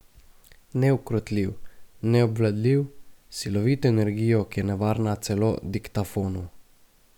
Neukrotljiv, neobvladljiv, s silovito energijo, ki je nevarna celo diktafonu.